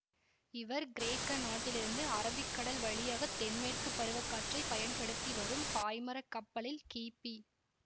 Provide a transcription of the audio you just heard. இவர் கிரேக்க நாட்டிலிருந்து அரபிக்கடல் வழியாக தென்மேற்கு பருவக்காற்றை பயன்படுத்தி வரும் பாய்மரக் கப்பலில் கிபி